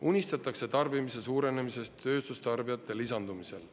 Unistatakse tarbimise suurenemisest tööstustarbijate lisandumisel.